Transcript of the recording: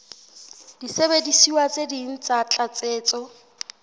disebediswa tse ding tsa tlatsetso